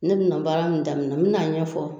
Ne bɛna baara min daminɛ n bɛn'a ɲɛfɔ